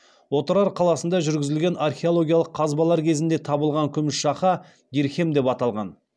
отырар қаласында жүргізілген археологиялық қазбалар кезінде табылған күміс шақа дирхем деп аталған